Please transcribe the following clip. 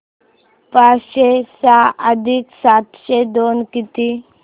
पाचशे सहा अधिक सातशे दोन किती